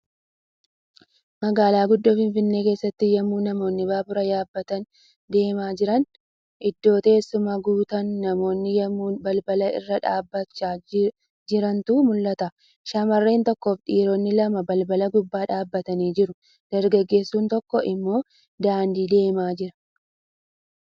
Magaalaa guddoo Finfinnee keessatti yemmuu namoonni baabura yaabbatanii deemaa jiran. Iddoon teessumaa guutaan namoonni yemmuu balbala irra dhaabachaa jirantu mul'ata. Shamarreen tokkoofi dhiironni lama balbala gubbaa dhaabatanii jiru. Dargaggeessu tokko immoo daandii deemaa jira.